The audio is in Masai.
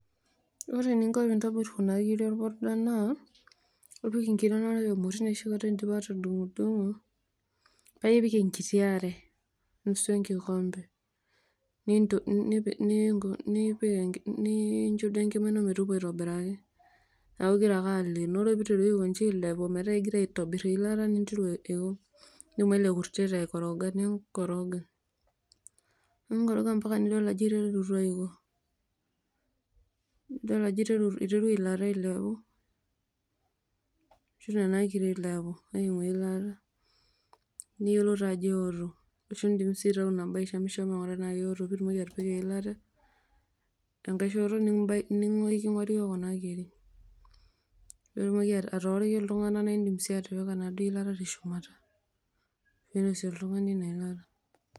Ore eninko pintobir kuna kirik orpuda naa ipik nkirik emoti indipa atudungdungo paipik enkiti aare, nusu enkikombe nipik ninko nincho duo metooku aitobiraki neaku ingira ake aleenoo, ore peiteru aiko nji ailepu metaa kegira ailepunye eilata neaku eoo, nidumu ele kurtet aikoroga neaku kikoroga, ninkoroga ambaka nidol ajo iterutua aoku, enidol ajo iterua eilata ailepu ninguiki eilata, niyiolou taa ajo eoto, nindim si aishamishama ainguraa anaa keoto pitumoki aibukoi eilata enkai shoto nikinguikini iyi kuna kirik nitumoki atooriki ltunganak nindim sii atipika enaduo ilata teshumata, neinosie oltungani ina ilata.